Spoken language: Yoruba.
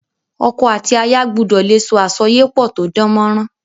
Oko àti aya gbudò le so àsoyépò to dánmórán